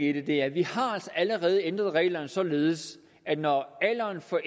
i det er at vi altså allerede har ændret reglerne således at når alderen for